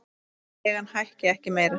Leigan hækki ekki meira.